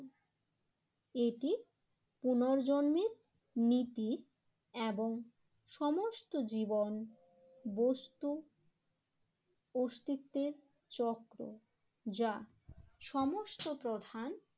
এটি পুনর্জন্মের নীতি এবং সমস্ত জীবন বস্তু অস্তিত্বের চক্র যা সমস্ত প্রধান